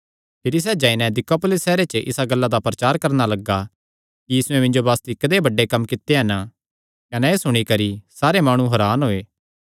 भिरी सैह़ जाई नैं दिकापुलिस सैहरे च इसा गल्ला दा प्रचार करणा लग्गा कि यीशुयैं मिन्जो बासती कदेय बड्डे कम्म कित्ते कने एह़ सुणी करी सारे माणु हरान होये